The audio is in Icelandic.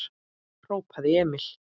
hrópaði Emil.